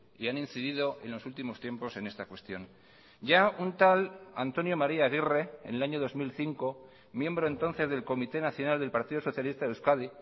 y han incidido en los últimos tiempos en esta cuestión ya un tal antonio maría aguirre en el año dos mil cinco miembro entonces del comité nacional del partido socialista de euskadi